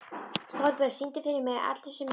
Þorbjörn, syngdu fyrir mig „Allir sem einn“.